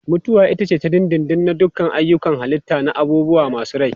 Mutuwa ita ce ta dindindin na duk ayyukan halitta na abubuwa masu rai.